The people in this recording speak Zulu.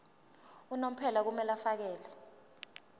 unomphela kumele afakele